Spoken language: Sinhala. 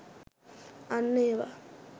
අන්න ඒවා!